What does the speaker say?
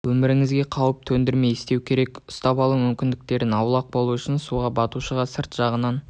өміріңе қауіп төндірмей істеу керек ұстап алу мүмкіндіктерінен аулақ болу үшін суға батушыға сырт жағынан